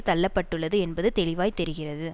தள்ள பட்டுள்ளது என்பது தெளிவாய் தெரிகிறது